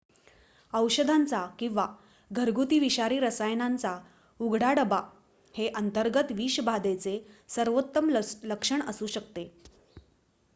औषधांचा किंवा घरगुती विषारी रसायनांचा उघडा डबा हे अंतर्गत विषबाधेचे सर्वोत्तम लक्षण असू शकते